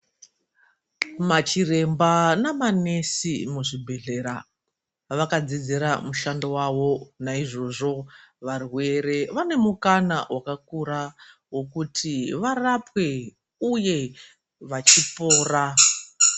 Machiremba namanesi muzvibhedhlera vakadzidzira mushando vavo naizvozvo varwere vane mukana vakakura vokuti varapwe uye vachipora .